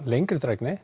lengri